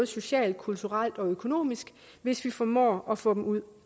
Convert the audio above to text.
socialt kulturelt og økonomisk hvis vi formår at få dem ud